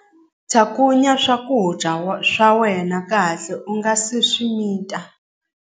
Cakunya swakudya swa wena kahle u nga si swi mita.